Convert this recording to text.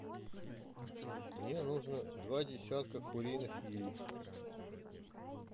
мне нужно два десятка куриных яиц